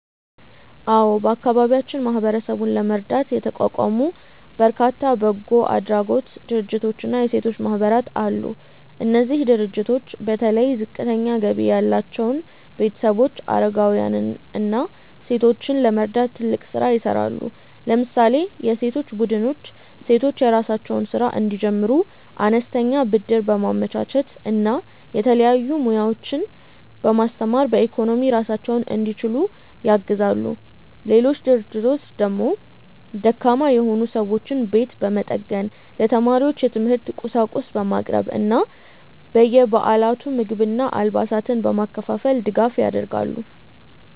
አዎ፣ በአካባቢያችን ማህበረሰቡን ለመርዳት የተቋቋሙ በርካታ በጎ አድራጎት ድርጅቶችና የሴቶች ማህበራት አሉ። እነዚህ ድርጅቶች በተለይ ዝቅተኛ ገቢ ያላቸውን ቤተሰቦች፣ አረጋውያንን እና ሴቶችን ለመርዳት ትልቅ ስራ ይሰራሉ። ለምሳሌ የሴቶች ቡድኖች ሴቶች የራሳቸውን ስራ እንዲጀምሩ አነስተኛ ብድር በማመቻቸት እና የተለያዩ ሙያዎችን በማስተማር በኢኮኖሚ ራሳቸውን እንዲችሉ ያግዛሉ። ሌሎች ድርጅቶች ደግሞ ደካማ የሆኑ ሰዎችን ቤት በመጠገን፣ ለተማሪዎች የትምህርት ቁሳቁስ በማቅረብ እና በየበዓላቱ ምግብና አልባሳትን በማከፋፈል ድጋፍ ያደርጋሉ።